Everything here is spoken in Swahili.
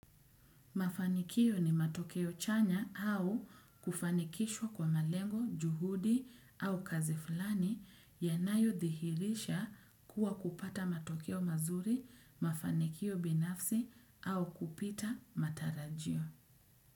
Mafanikio ni matokeo chanya au kufanikishwa kwa malengo, juhudi au kazi fulani yanayodihirisha kuwa kupata matokeo mazuri, mafanikio binafsi au kupita matarajio.